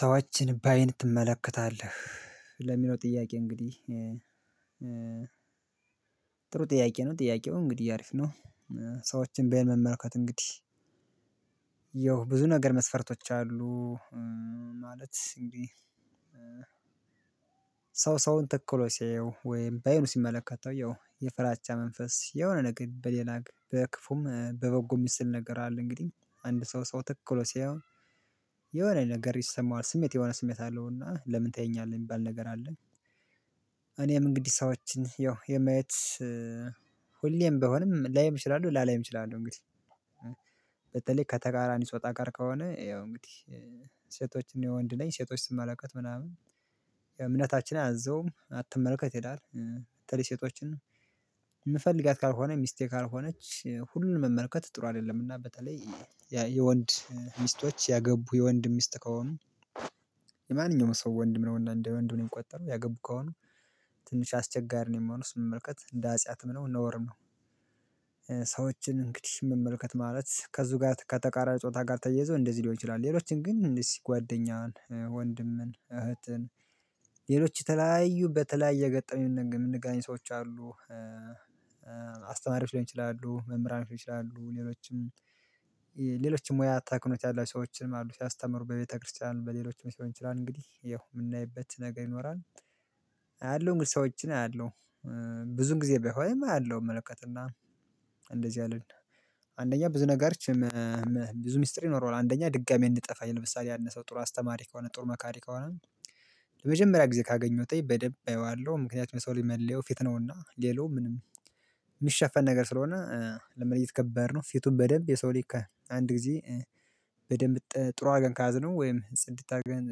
ሰዎችን ባይን ትመለከታለህ ለሚለው ጥያቄ እንግዲህ ጥሩ ጥያቄ ነው ጥያቄው እንግዲህ አሪፍ ነው ሰዎችን በአይነ መመልከት እንግዲህ ብዙ ነገር መስፈርቶች አሉ ማለት እንዴ ሰው ሰውን ተክሎ ሲያየው ወይም በየኑ ሲመለከት አዎ የፍራቻ መንፈስ የሆነ ነገር በሌላ በክፉም በበጎ ምስል ነገር አለ እንግዲህ አንድ ሰው ሰው ተክሎ ሲያየው የሆነ ነገር ይሰማዋል ስሜት የሆነ ስሜት አለውና ለምን ታየኛለህ የሚባል ነገር አለ እኔም እንግዲህ ሰዎችን ያው የማየት ሁሌም በሆነም ላይም እችላለሁ ላላይም እችላለሁ እንግዲህ በተለይ ከተቃራን ጾታ ጋር ከሆነ ያው እንግዲህ ሴቶችን የወንድ ነኝ ሴቶች ስመለከት ምናምን የእምነታችን አዘውም አትመለከት ይላል በተለይ ሴቶችን የምፈልጋት ካልሆነ ሚስቴ ካልሆነች ሁሉንም መመልከት ጥሩ አይደለም እና በተለይ የወንድ ሚስቶች ያገቡ የወንድ ሚስት ከሆኑ የማንኛውም ሰው ወንድ ምን እንደ ወንድ ሆነን የምቆጠረው ያገቡ ከሆኑ ትንሽ አስቸጋሪ ነው የምሆነው ስመለከት እንደ አጼት ነው እንደ ነዋሪም ነው ሰዎችን እንግዲህ መመልከት ማለት ከዚህ ጋር ከተቃራኒ ጾታ ጋር ተያይዞ እንደዚህ ሊሆን ይችላል ሌሎችን ግን እንደዚህ ጓደኛን ወንድምን እህትን ሌሎች ተላያዩ በተለያየ ገጠመኝ የምንገናኝ ሰዎች አሉ አስተማሪዎች ሊሆን ይችላሉ መምህራን ይችላሉ ሌሎችም ሌሎችም ሙያ አታክኖት ያላችሁ ሰዎችን አሉ ሲያስተምሩ በቤተክርስቲያን በሌሎች ልሆን ይችላል እንግዲህ የምናይበት ነገር ይኖራል አያለሁ ሰዎችን አያለሁ ብዙን ጊዜ ቢሆን አያለው እመለከትና እንደዚህ አለን አንደኛ ብዙ ነገር ብዙ ሚስጥር ይኖረዋል አንደኛ ድጋሚ እንጠፋኝ ለምሳሌ አንድ ሰው ጥሩ አስተማሪ ከሆነ ጥሩ መካሪ ከሆነ ለመጀመሪያ ጊዜ ካገኘሁት በደንብ አየዋለሁ ምክንያት ሰው መለየው ፊት ነውና ሌላው ምንም የሚሸፈን ነገር ስለሆነ ለመለየት ከባድ ነው ፊቱን በደንብ የሰው ሊክ አንድ ጊዜ በደንብ ጥሩ አገን ካዝነው ወይም ጺድት አድርገን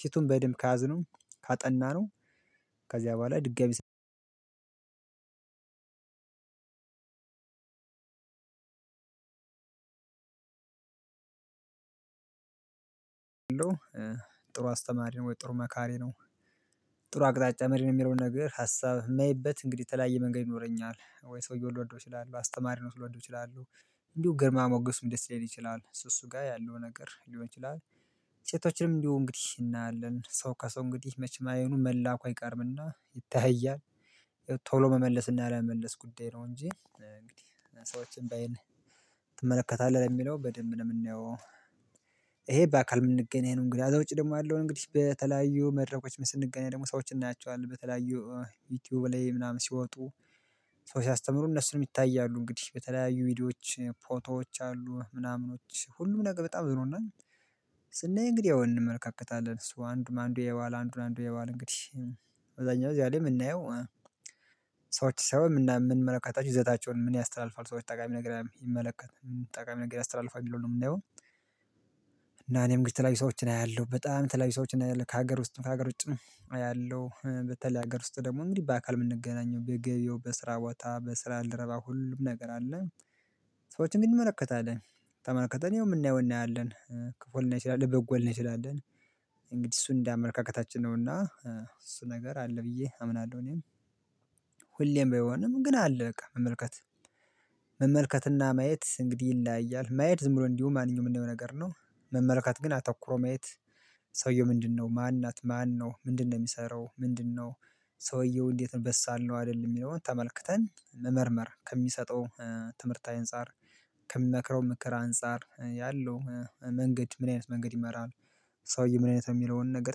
ፊቱን በደንብ ካዝነው ካጠናነው ከዚያ በኋላ ድጋሚ ጥሩ አስተማሪ ነው ወይ ጥሩ መካሪ ነው ጥሩ አቅጣጫ መሪ ነው የሚለውን ነገር ሀሳብ ላይየማይበት እንግዲህ የተለያየ መንገድ ይኖረኛል ወይ ሰውየው ልወደው እችላለሁ አስተማሪ ነው ልወደው ይችላለሁ እንዲሁ ግርማ ሞገሱም ደስ ሊለን ይችላል እሱ ጋር ያለው ነገር ሊሆን ይችላል ሴቶችንም እንዲሁ እንግዲህ እናያለን ሰው ከሰው እንግዲህ መቼ አይኑ መላኩ አይቀርምና ይታያል ቶሎ መመለስና ያለመመለስ ጉዳይ ነው እንጂ እንግዲህ ሰዎችን ባይ ትመለከታለህ የሚለው በደንብ ነው የምንየው ይሄ በአካል የምንገኝ ነው እንግዲህ አዛ ውጪ ደግሞ ያለውን እንግዲህ በተለያዩ መድረኮች ስንገናኝ ደግሞ ሰዎችን እናያቸዋለን በተለያዩ ዩቲዩብ ላይ ምናምን ሲወጡ ሰው ሲያስተምሩ እነሱንም ይታያሉ እንግዲህ በተለያዩ ቪዲዮዎች ፎቶዎች አሉ ምናምኖች ሁሉም ነገር በጣም ዝሮ እና ስናይ እንግዲህ ያው እንመለካከታለን። እሱ አንዱን አንዱ ያየዋል አንዱን አንዱ ያየዋል እንግዲህ። አብዛኛው እዚያ ላይ የምናየው ሰዎች ሰው የምንመለከታቸው ይዘታቸውን ምን ያስተላልፋሉ ሰዎች ጠቃሚ ነገር የሚመለከት ጠቃሚ ነገር ያስተላልፋሉ ነው የምናየው እና እኔም ግን የተለያዩ ሰዎችን አያለሁ። በጣም የተለያዩ ሰዎችን አያለሁ። ከሀገር ውስጥም ከሀገር ውም አያለሁ። በተለይ ሀገር ውስጥ ደግሞ እንዲህ በአካል የምንገናኘው በገበያው፣ በስራ ቦታ፣ በስራ ባልደረባ ሁሉም ነገር አለ። ግን እንመለከታለን። ተመልከተን ያው የምናየውን እናያለን። ክፉ ልናይ እንችላለን። በጎ ልናይ እንችላለን። እንግዲህ እሱን እንደ አመለካከታችን ነውና እሱ ነገር አለ ብዬ አምናለሁ እኔም። ሁሌም ባይሆንም ግን አለ በቃ መመልከት። መመልከትና ማየት እንግዲህ ይለያያል። ማየት ዝም ብሎ እንዲሁ ማንኛውም የምናየው ነገር ነው። መመልከት ግን አተኩሮ ማየት ሰውየው ምንድነው? ማን ናት? ማን ነው? ምንድነው የሚሰራው? ምንድነው ሰውየው እንዴት ነው? በሳል ነው አይደለም? የሚለውን ተመልክተን መመርመር። ከሚሰጠው ትምህርት አንፃር፤ ከሚመክረው ምክር አንፃር ያለው መንገድ ምን አይነት መንገድ ይመራል ሰውዬ ምን አይነት ነው? የሚለውን ነገር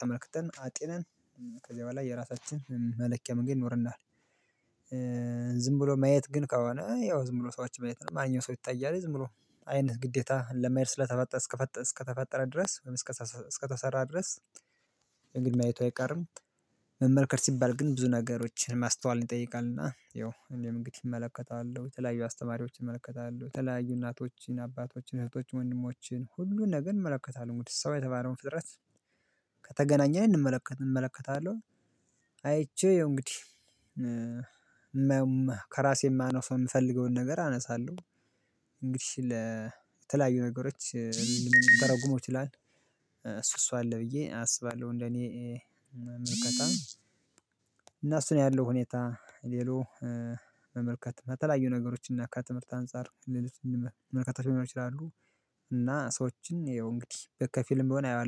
ተመልክተን አጢነን ከዚህ በኋላ የራሳችንን መለኪያ መንገድ ይኖረናል። ዝም ብሎ ማየት ግን ከሆነ ያው ዝም ብሎ ሰዎችን ማየት ነው። ማንኛውም ሰው ይታያል። ዝም ብሎ አይነት ግዴታ ለማየት ስለተፈጠረ እስከተፈጠረ እስከተፈጠረ ድረስ ወይም እስከተሰራ እስከተሰራ ድረስ ማየቱ አይቀርም። መመልከት ሲባል ግን ብዙ ነገሮችን ማስተዋልን ይጠይቃልና ያው እኔም እንግዲህ እመለከታለሁ። የተለያዩ አስተማሪዎች እመለከታለሁ። የተለያዩ እናቶችን፣ አባቶችን፣ እህቶችን፣ ወንድሞችን ሁሉን ነገር እመለከታለሁ። እንግዲህ ሰው የተባለውን ፍጥረት ከተገናኘን እንመለከት እመለከታለሁ አይቼው ያው እንግዲህ ከራሴ የማነሳው የምፈልገውን ነገር አነሳለሁ እንግዲህ ለተለያዩ ነገሮች ልንተረጉመው ይችላል። እሱ እሱ አለ ብዬ አስባለሁ እንደኔ ምልከታ። አና እሱ ነው ያለው ሁኔታ ሌሎ መመልከት በተለያዩ ነገሮች እና ከትምህርት አንፃር ሌሎችንም መመልከት ሊኖሩ ይችላሉ እና ሰዎችን ይኸው እንግዲህ ከፊልም በሆነ አየዋለሁ